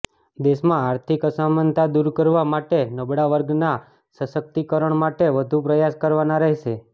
દેશમાં આર્થિક અસમાનતા દૂર કરવા માટે નબળા વર્ગના સશક્તિકીકરણ માટે વધુ પ્રયાસ કરવાના રહેશે